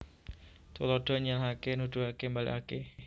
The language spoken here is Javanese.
Tuladha nyèlèhaké nuduhaké mbalèkaké